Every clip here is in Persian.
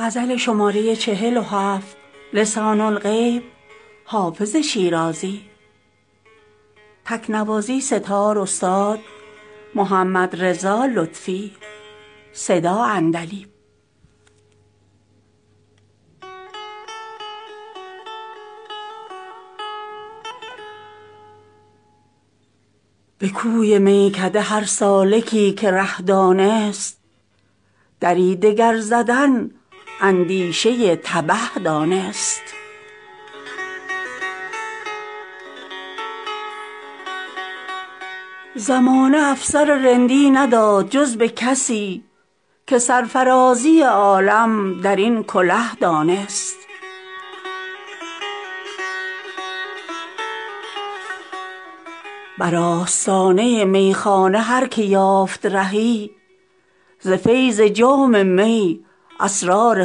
به کوی میکده هر سالکی که ره دانست دری دگر زدن اندیشه تبه دانست زمانه افسر رندی نداد جز به کسی که سرفرازی عالم در این کله دانست بر آستانه میخانه هر که یافت رهی ز فیض جام می اسرار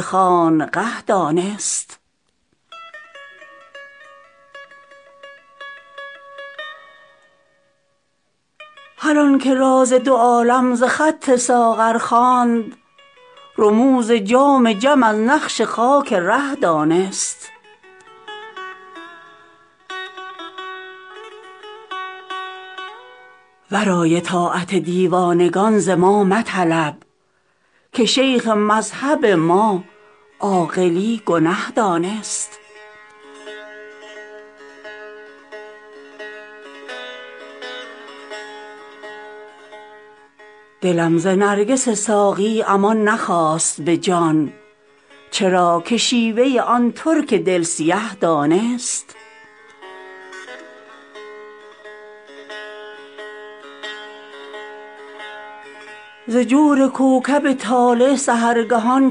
خانقه دانست هر آن که راز دو عالم ز خط ساغر خواند رموز جام جم از نقش خاک ره دانست ورای طاعت دیوانگان ز ما مطلب که شیخ مذهب ما عاقلی گنه دانست دلم ز نرگس ساقی امان نخواست به جان چرا که شیوه آن ترک دل سیه دانست ز جور کوکب طالع سحرگهان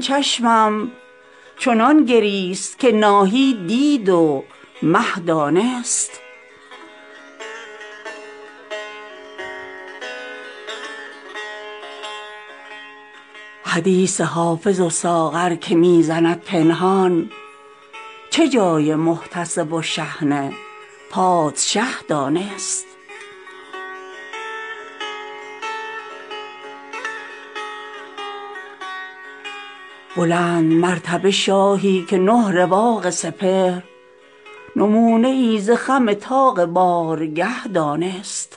چشمم چنان گریست که ناهید دید و مه دانست حدیث حافظ و ساغر که می زند پنهان چه جای محتسب و شحنه پادشه دانست بلندمرتبه شاهی که نه رواق سپهر نمونه ای ز خم طاق بارگه دانست